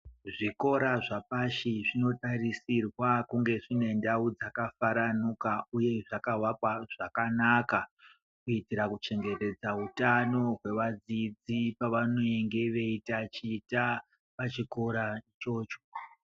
Zvikora zvapashi zvinotarisirwa kunge zvinendau dzakafaranuka uye zvakavakwa zvakanaka. Kuitira kuchengetedza utano hwevadzidzi vanenga veitaticha pachikora ichocho.